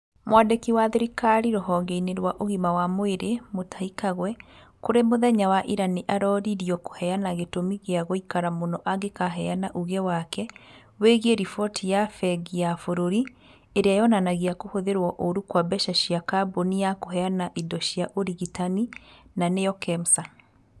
Mwandĩki wa thirikari rũhonge-inĩ rwa ũgima wa mwĩrĩ Mũtahi Kagwe kũrĩ mũthenya wa ira nĩ orirue kũheana gìtumi kĩa gũikara mũno agĩkaheana uuge wake wĩgiĩ riboti ya bengi ya bũrũri ĩrĩa yonanagia kũhũthĩrwo ũũru kwa mbeca cia kambũni ya kũheana indo cia ũrigitani (Kemsa).